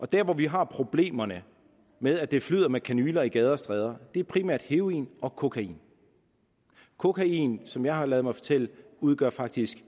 der hvor vi har problemerne med at det flyder med kanyler i gader og stræder er primært fra heroin og kokain kokain som jeg har ladet mig fortælle udgør faktisk